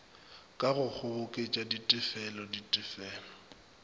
ka go kgoboketša ditefelo ditefelo